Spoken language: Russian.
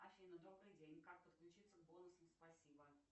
афина добрый день как подключиться к бонусам спасибо